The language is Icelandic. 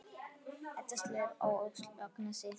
Edda slær á öxl Agnesi.